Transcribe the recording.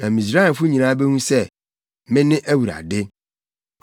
Na Misraimfo nyinaa behu sɛ, mene Awurade.”